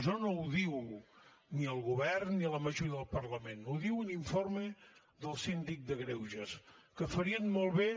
això no ho diu ni el govern ni la majoria del parlament ho diu un informe del síndic de greuges que farien molt bé